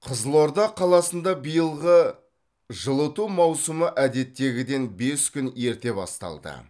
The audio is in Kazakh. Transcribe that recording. қызылорда қаласында биылғы жылыту маусымы әдеттегіден бес күн ерте басталды